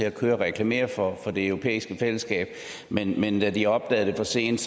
at køre og reklamere for det europæiske fællesskab men men da de opdagede det for sent